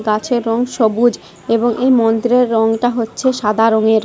গাছের রং সবুজ এবং এই মন্ত্রের রংটা হচ্ছে সাদা রঙের।